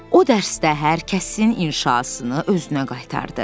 O dərsdə hər kəsin inşasını özünə qaytardı.